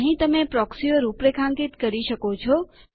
અહીં તમે પ્રોક્સીઓ રૂપરેખાંકિત કરી શકો છો